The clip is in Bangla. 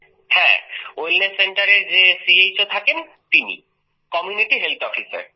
হ্যাঁ ওয়েলনেস Centreএর যে চো থাকেন তিনি কমিউনিটি হেলথ Officer